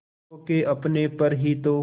खो के अपने पर ही तो